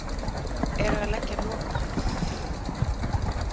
Eru að leggja lokahönd á tillögurnar